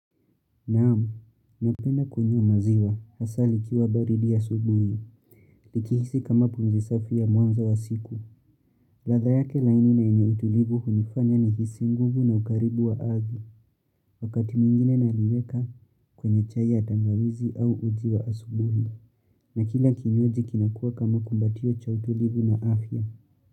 Naam, napenda kunywa maziwa, hasa likiwa baridi asubuhi, likihisi kama punzi safi ya mwanzo wa siku. Ladha yake laini na enye utulivu hunifanya ni hisi nguvu na ukaribu wa ardhi, wakati mwingine na liweka kwenye chai ya tangawizi au uji wa asubuhi, na kila kinywaji kinakua kama kumbatio cha utulivu na afya.